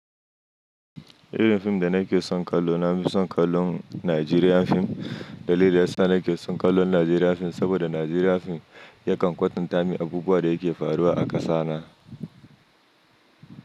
Irin fim da nake son kallo na fi son kallon Nigerian fim. Dalili da ya sa nake son kallon Nigerian fim saboda Nigerian fim yakan kwatantamin abubuwa da yake faruwa a kasa na.